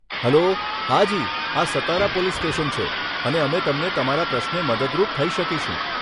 Hello, હાજી આ Satara police station છે અને અમે તમને તમારા પ્રશ્ને મદદરૂપ થઇ શકીશું.